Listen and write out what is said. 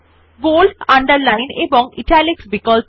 bold underline এবং italics বিকল্প